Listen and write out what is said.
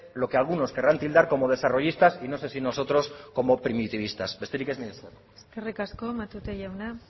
lo que algunos querrán tildar como desarrollistas y no sé si nosotros como primitivistas besterik ez mila esker eskerrik asko matute jauna